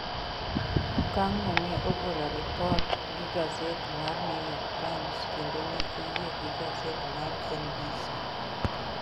Okang' no ne ogolo ripot gi gaset mar New York Times kendo ne oyie gi gaset mar NBC.